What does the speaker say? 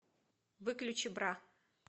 выключи бра